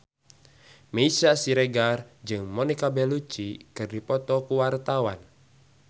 Meisya Siregar jeung Monica Belluci keur dipoto ku wartawan